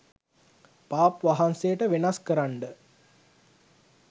පාප් වහන්සේට වෙනස් කරන්ඩ